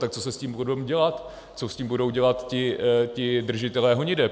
Tak co se s tím bude dělat, co s tím budou dělat ti držitelé honiteb?